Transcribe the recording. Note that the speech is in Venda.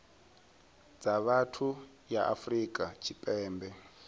dza vhathu ya afrika tshipembe